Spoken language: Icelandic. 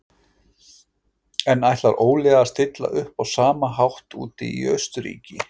En ætlar Óli að stilla upp á sama hátt úti í Austurríki?